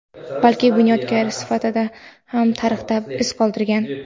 balki bunyodkor sifatida ham tarixda iz qoldirgan.